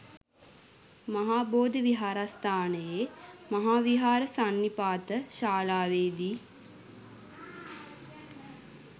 මහා බෝධි විහාරස්ථානයේ මහාවිහාර සන්නිපාත ශාලාවේ දී